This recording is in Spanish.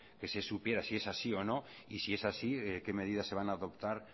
que se supiera si es así o no y si es así qué medidas se van a adoptar